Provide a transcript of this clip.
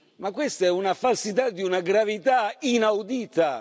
Ma questa è una falsità di una gravità inaudita!